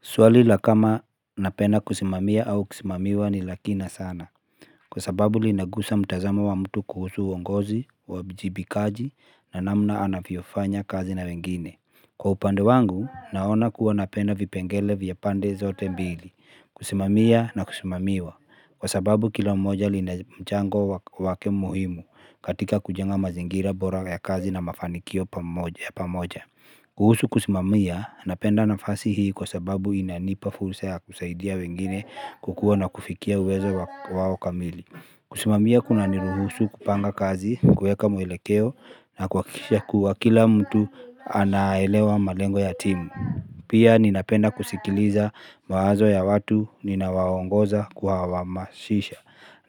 Swali la kama napenda kusimamia au kusimamiwa ni la kina sana. Kwa sababu linagusa mtazamo wa mtu kuhusu uongozi, uwajibikaji na namna anavyofanyakazi na wengine. Kwa upande wangu, naona kuwa napenda vipengele vya pande zote mbili, kusimamia na kusimamiwa. Kwa sababu kila mmoja lina jango lake muhimu, katika kujenga mazingira bora ya kazi na mafanikio pamoja. Kuhusu kusimamia, napenda nafasi hii kwa sababu inanipa fursa ya kusaidia wengine kukua na kufikia uwezo wao kamili. Kusimamia kuna niruhusu kupanga kazi, kuweka muelekeo na kuhakikisha kuwa kila mtu anaelewa malengo ya timu. Pia ninapenda kusikiliza mawazo ya watu ninaowaongoza, kuwahamasisha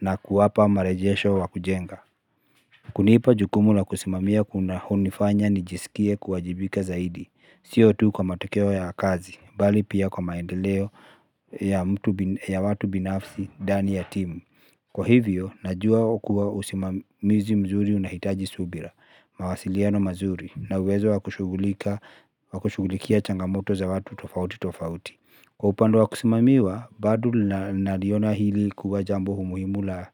na kuwapa marejesho wa kujenga. Kunipa jukumu la kusimamia hunifanya ni jisikie kuwajibika zaidi, sio tu kwa matokeo ya kazi, bali pia kwa maendeleo ya watu binafsi dani ya timu. Kwa hivyo, najua kuwa usimamizi mzuri unahitaji subira, mawasiliano mazuri, na uwezo wa kushugulikia changamoto za watu tofauti tofauti. Kwa upande wa kusimamiwa, bado naliona hili kuwa jambo muhimu na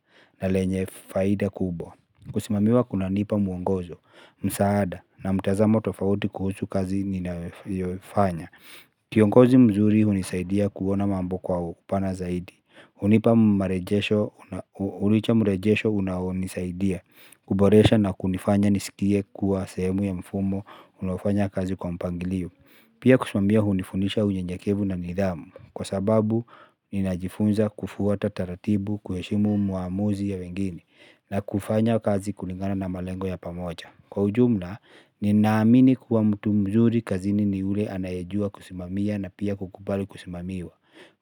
lenye faida kubo. Kusimamiwa kunanipa muongozo, msaada na mtazamo tofauti kuhusu kazi ninayofanya kiongozi mzuri hunisaidia kuona mambo kwa upana zaidi, hunipa marejesho unaonisaidia kuboresha na kunifanya nisikie kuwa sehemu ya mifumo unayofanya kazi kwa mpangilio. Pia kusimamiwa hunifundisha unyenyekevu na nidhamu kwa sababu, ninajifunza kufuata taratibu, kuheshimu maamuzi ya wengine na kufanya kazi kulingana na malengo ya pamoja kwa ujumla nina amini kuwa mtu mzuri kazini ni yule anayejua kusimamia na pia kukubali kusimamiwa.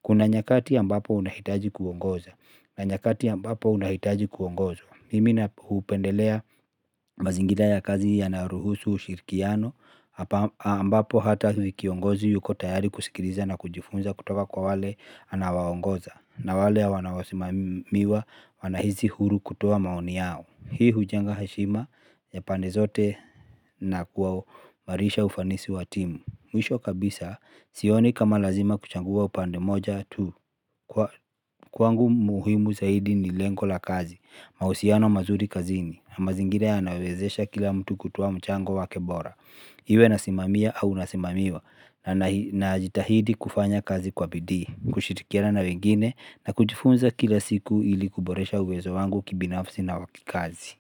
Kuna nyakati ambapo unahitaji kuongoza na nyakati ambapo unahitaji kuongozwa. Mimi hupendelea mazingira ya kazi yanaruhusu ushirikiano ambapo hata kiongozi yuko tayari kusikiliza na kujifunza kutoka kwa wale anaowaongoza. Na wale wanaosimamiwa wanahisi huru kutoa maoni yao. Hii hujenga heshima ya pande zote na kuwa kuimarisha ufanisi wa timu. Mwisho kabisa sioni kama lazima kuchangua upande moja tu. Kwangu muhimu zaidi ni lengo la kazi, mahusiano mazuri kazini, na mazingira yanawezesha kila mtu kutoa mchango wake bora. Iwe nasimamia au nasimamiwa, najitahidi kufanya kazi kwa bidii, kushirikiana na wengine nakujifunza kila siku ili kuboresha uwezo wangu kibinafsi na kikazi.